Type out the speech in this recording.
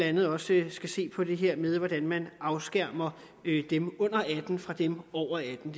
andet også skal se på det her med hvordan man afskærmer dem under atten år fra dem over atten